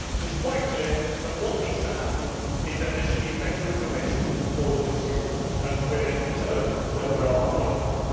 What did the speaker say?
So it is quite clear that what needs to happen is that there should be better information for the consumers as to where they can turn when there are problems.